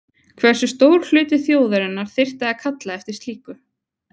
Hversu stór hluti þjóðarinnar þyrfti að kalla eftir slíku?